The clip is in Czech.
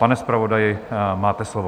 Pane zpravodaji, máte slovo.